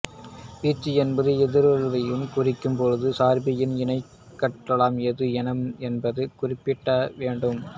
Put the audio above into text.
வீச்சு என்பது எதிருருவைக் குறிக்கும்போது சார்பின் இணையாட்களம் எது என்பது குறிப்பிடப்பட வேண்டும்